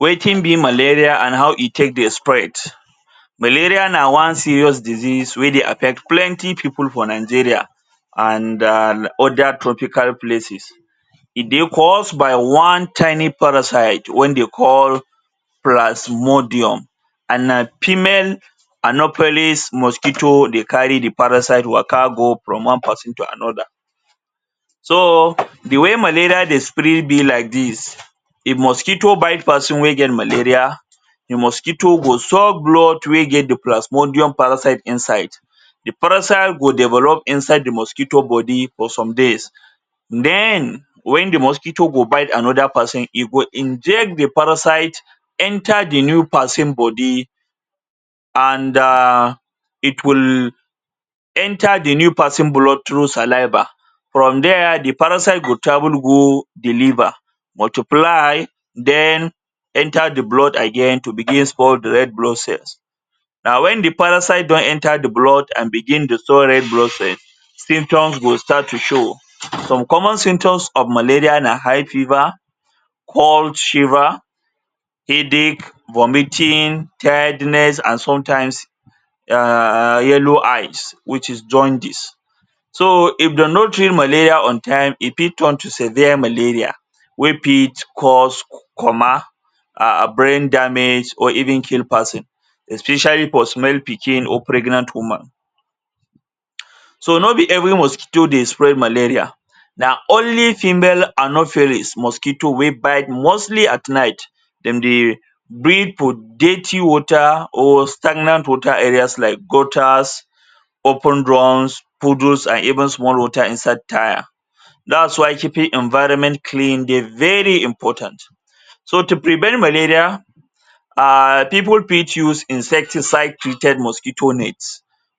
Wetin be malaria, and how e take dey spread? Malaria na one serious disease wey dey affect plenty pipu for Nigeria and um other tropical places. E dey cause by one tiny parasite wen dey call plasmodium, and na female anopheles mosquito dey carry the parasite waka go from one peson to another. So, the way malaria dey spread be like dis: if mosquito bite peson wey get malaria, the mosquito go suck blood wey get the plasmodium parasite inside, the parasite go develop inside the mosquito body for some days, then wen the mosquito go bite another peson, e go inject the parasite enter the new peson body, and um it will enter the new peson blood through saliva. From there, the parasite go travel go the liver, multiply, then enter the blood again to begin spoil the red blood cells. And wen the parasite don enter the blood and begin dey spoil red blood cell, symptoms go start to show. Some common symptoms of malaria na high fever, cold shiver, headache, vomiting, tiredness and sometimes, um yellow eyes which is jaundice. So, if de no treat malaria on time, e fit turn to severe malaria wey fit cause coma, um brain damage or even kill peson, especially for small pikin or pregnant woman. So, no be every mosquito dey spread malaria; na only female anopheles mosquito wey bite mostly at night. Dem dey breed for dirty water or stagnant water areas like gutters, open drums, puddles and even small water inside tyre. Dat's why keeping environment clean dey very important. So, to prevent malaria, um pipu fit use insecticide treated mosquito net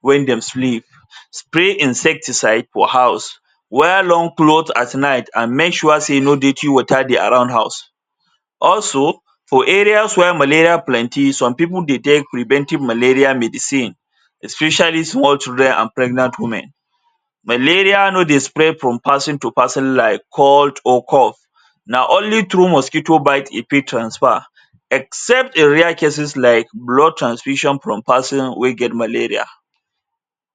wen dem sleep, spray insecticide for house, wear long cloth at night, and make sure sey no dirty water dey around house. Also, for areas where malaria plenty, some pipu dey take preventive malaria medicine especially small children and pregnant women. Malaria no dey spread from peson to peson like cold or cough, na only through mosquito bite e fit transfer. Except in rare cases like blood transfusion from peson wey get malaria.